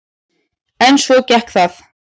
En svo gekk það.